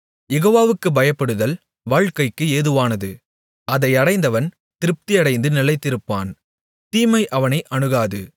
யெகோவாவுக்குப் பயப்படுதல் வாழ்க்கைக்கு ஏதுவானது அதை அடைந்தவன் திருப்தியடைந்து நிலைத்திருப்பான் தீமை அவனை அணுகாது